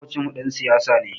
Maƙocinmu ɗan siyasa ne.